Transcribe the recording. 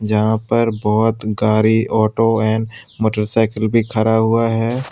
यहां पर बहोत गारी ऑटो है और मोटरसाइकिल भी खरा हुआ है।